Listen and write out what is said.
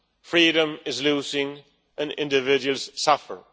freedom is lost and individuals suffer.